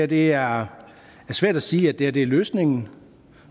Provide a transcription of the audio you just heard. det er svært at sige at det her er løsningen